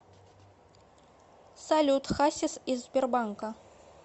салют хасис из сбербанка